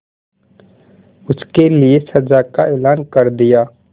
उसके लिए सजा का ऐलान कर दिया